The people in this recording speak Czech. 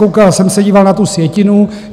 Koukal jsem se, díval na tu sjetinu.